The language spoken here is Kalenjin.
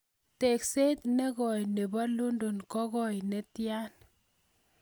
Teekseet ne kooi ne po London kogoi netian